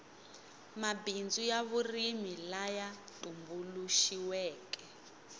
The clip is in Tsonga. mabindzu ya vurimi laya tumbuluxiweke